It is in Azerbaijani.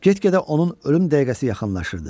Get-gedə onun ölüm dəqiqəsi yaxınlaşırdı.